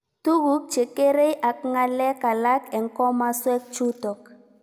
Tuguk che kerei ak ng'alek alak eng' komaswek chutok